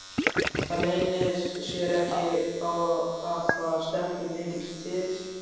Það leynir sér ekki að það stendur mikið til.